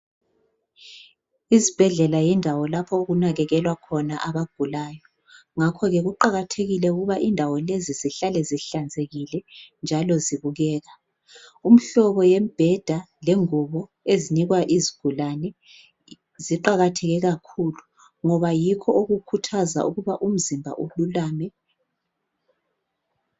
Izibhedlela yindawo lapho okunakekelwa khona abagulayo, ngakho-ke kuqakathekile ukuba indawo lezi zihlale zihlanzekile njalo zibukeka. Umhlobo yembheda lengubo ezinikwa izigulane ziqakatheke kakhulu ngoba yikho okukhuthaza ukuba umzimba ululame